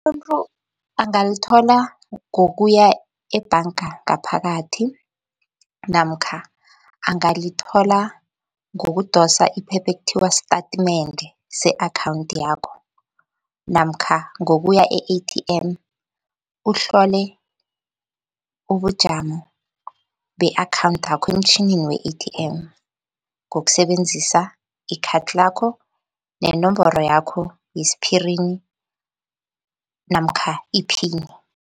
Umuntu angalithola ngokuya ebhanga ngaphakathi namkha angalithola ngokudosa iphepha ekuthiwa statimende se-akhawunthi yakho namkha ngokuya e-A_T_M, uhlole ubujamo be-akhawunthakho emtjhinini we-A_T_M, ngokusebenzisa ikhathi lakho nenomboro yakho yesphirini namkha iphini.